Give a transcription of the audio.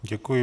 Děkuji.